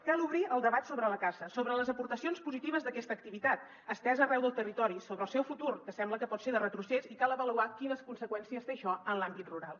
cal obrir el debat sobre la caça sobre les aportacions positives d’aquesta activi·tat estesa arreu del territori sobre el seu futur que sembla que pot ser de retrocés i cal avaluar quines conseqüències té això en l’àmbit rural